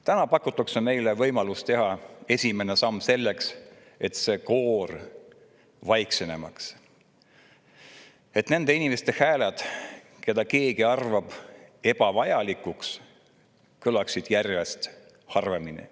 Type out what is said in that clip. Täna pakutakse meile võimalust teha esimene samm selleks, et see koor jääks vaiksemaks, et nende inimeste hääled, keda keegi ebavajalikuks, kõlaksid järjest harvemini.